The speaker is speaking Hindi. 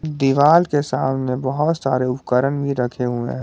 दीवाल के सामने बहुत सारे उपकरण भी रखे हुए हैं।